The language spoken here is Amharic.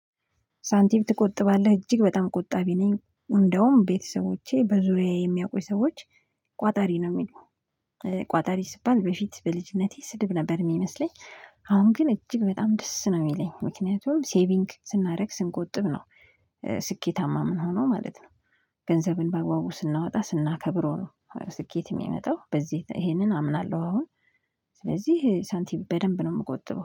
ሳንቲም ትቆጥባለህ እጅግ በጣም ቆጣቢ ነኝ እንደውም ቤተሰቦቼ በዙሪያዬ የሚያዉቁኝ ሰዎች ቋጣሪ ነው የሚሉኝ። ቋጣሪ ሲባል በፊት በልጅነቴ ስድብ ነበር የሚመስለኝ አሁን ግን እጅግ በጣም ደስ ነው የሚለኝ ምክንያቱም ሴቪንግ ስናደርግ ስንቆጥብ ነው ስኬታማ የምንሆነው ማለት ነው። ገንዘብን በአግባቡ ስናወጣ ስናከብረው ነው ስኬት የሚመጣው በዚህ ይሄንን አምናለሁ አሁን ስለዚህ ሳንቲም በደንብ ነው የምቆጥበው